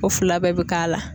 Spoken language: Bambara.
O fila bɛɛ bɛ k'a la.